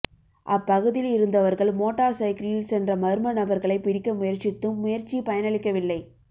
அப் பகுதியில் இருந்தவர்கள் மோட்டார் சைக்கிளில் சென்ற மர்ம நபர்களை பிடிக்க முயற்சித்தும் முயற்சி பயனலிக்கவில்லை